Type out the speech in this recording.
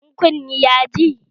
In kunne ya ji?